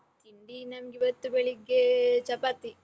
ತಿಂಡಿ ನನ್ಗಿವತ್ತು ಬೆಳಿಗ್ಗೆ ಚಪಾತಿ.